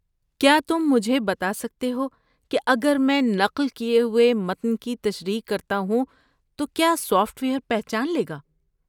کیا تم مجھے بتا سکتے ہو کہ اگر میں نقل کیے ہوئے متن کی تشریح کرتا ہوں تو کیا سافٹ ویئر پہچان لے گا؟